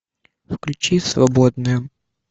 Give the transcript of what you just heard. включи свободные